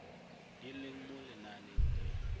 di leng mo lenaaneng di